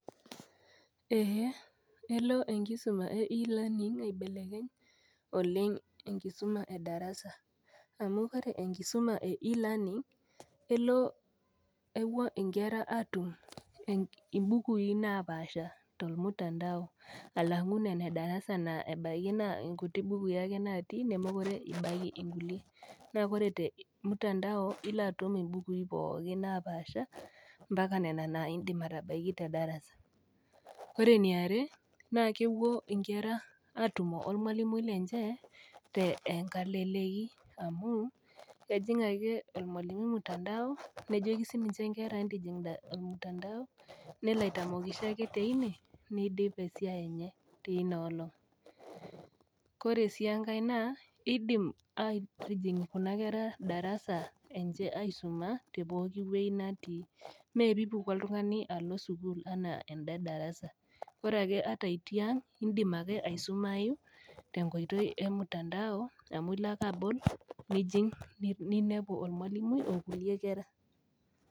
Ee elo enkisuma e e learning aibelekeny oleng enkisuma edarasa amu ore e learning nkera atum imbukui napaasha tormutandao alangu nona edarasa na kutu bukui natii nemekute etii nkulie ore tormutandao moaka nona na indim atabaki tedara, ore eniare na kepuo nkera atumo ormalimui lenye teleleki amu kelo ake ormalimui ormtandao nidip esiai enye tinaolong, ore si enkae kidim darasa aaisuma tewoi natii ore ake pipuku oltungani alo darasa indim ake aisumai tenkoitoi emutandao amu ilo ake ajing ninepu ormalimui onkulie kera.